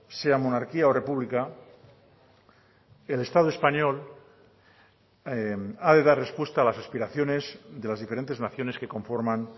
sea monarquía o república el estado español ha de dar respuesta a las aspiraciones de las diferentes naciones que conforman